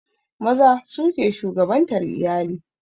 Maza su ke shugabantar iyali